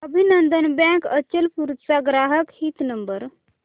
अभिनंदन बँक अचलपूर चा ग्राहक हित नंबर